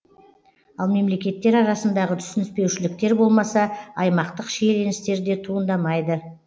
ал мемлекеттер арасындағы түсініспеушіліктер болмаса аймақтық шиеленістер де туындамайды